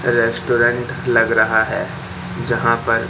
restaurant लग रहा है जहां पर--